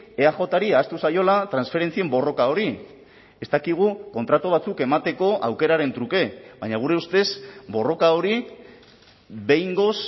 eajri ahaztu zaiola transferentzien borroka hori ez dakigu kontratu batzuk emateko aukeraren truke baina gure ustez borroka hori behingoz